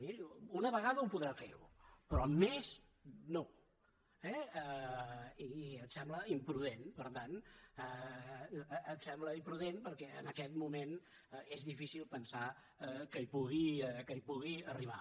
miri una vegada ho podrà fer però més no eh i em sembla imprudent per tant em sembla imprudent perquè en aquest moment és difícil pensar que hi pugui arribar